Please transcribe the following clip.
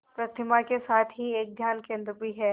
प्रतिमा के साथ ही एक ध्यान केंद्र भी है